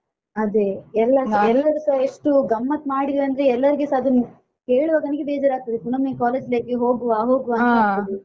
ಅದೇ ಎಲ್ಲಾ ಎಲ್ಲಾರೂಸಾ ಎಷ್ಟು ಗಮ್ಮತ್ ಮಾಡಿದ್ವಿ ಅಂದ್ರೆ ಎಲ್ಲರಿಗೆಸ ಅದನ್ನು ಹೇಳುವಾಗ ನಂಗೆ ಬೇಜಾರಾಗ್ತದೆ ಪುನ್ನೊಮ್ಮೆ college life ಗೆ ಹೋಗುವ ಹೋಗುವ ಅಂತ ಆಗ್ತದೆ.